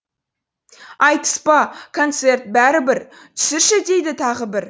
айтыс па концерт бәрі бір түсірші дейді тағы бір